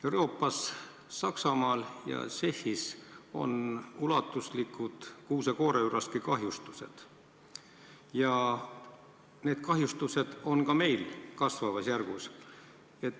Euroopas Saksamaal ja Tšehhis on ulatuslikud kuuse-kooreüraski kahjustused ja neid kahjustusi on ka meil üha rohkem.